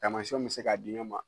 Taamasiyɛnw bɛ se ka di ɲɔgɔn ma